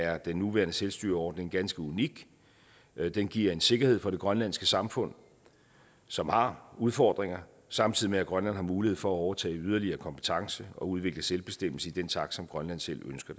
er den nuværende selvstyreordning ganske unik den giver en sikkerhed for det grønlandske samfund som har udfordringer samtidig med at grønland har mulighed for at overtage yderligere kompetence og udvikle selvbestemmelse i den takt som grønland selv ønsker